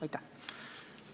Aitäh!